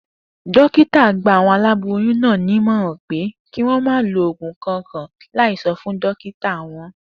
Dókítà náà gba àwo̩n aláboyún náà ní ìmò̩ràn pé kí wó̩n má lo ògùn kankan láì so̩ fún dókítà wo̩n